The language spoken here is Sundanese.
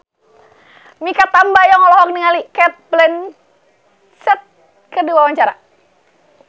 Mikha Tambayong olohok ningali Cate Blanchett keur diwawancara